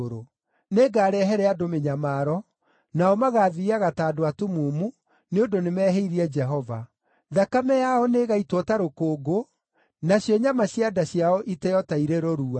Nĩngarehere andũ mĩnyamaro, nao magaathiiaga ta andũ atumumu, nĩ ũndũ nĩmehĩirie Jehova. Thakame yao nĩĩgaitwo ta rũkũngũ, nacio nyama cia nda ciao iteo ta irĩ rũrua.